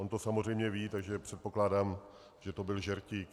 On to samozřejmě ví, takže předpokládám, že to byl žertík.